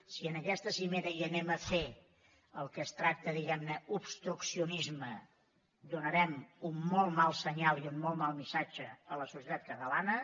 si en aquesta cimera hi anem a fer el que es tracta diguem ne obstruccionisme donarem un molt mal senyal i un molt mal missatge a la societat catalana